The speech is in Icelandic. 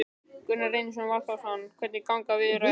Gunnar Reynir Valþórsson: Hvernig ganga viðræður?